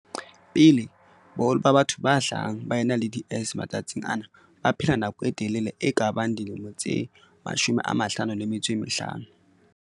Pele, boholo ba batho ba hlahang ba ena le DS matsatsing ana ba baphela nako e telele e kabang dilemo tse 55.